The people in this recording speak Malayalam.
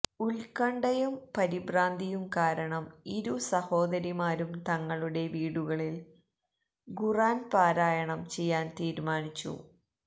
ഉത്കണ്ഠയും പരിഭ്രാന്തിയും കാരണം ഇരു സഹോദരിമാരും തങ്ങളുടെ വീടുകളില് ഖുര്ആന് പാരായണം ചെയ്യാന് തീരുമാനിച്ചു